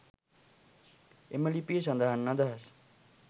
එම ලිපියේ සඳහන් අදහස්